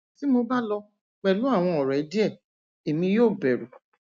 ti mo ba lọ pẹlu awọn ọrẹ diẹ emi yoo bẹru